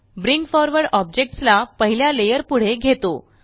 bring forward objects ला पहिल्या layer पुढे घेतो